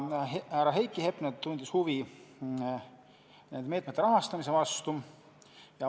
Härra Heiki Hepner tundis huvi nende meetmete rahastamise vastu.